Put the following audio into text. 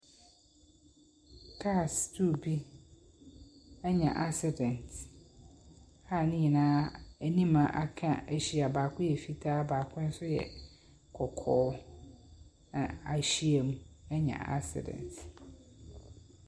Cars two bi anya asedɛnt a nenyinaa anim a aka ahyia. Baako yɛ fitaa, baako nso yɛ kɔkɔɔ. Na ahyiam anya asedɛnt.